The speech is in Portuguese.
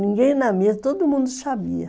Ninguém na minha, todo mundo sabia.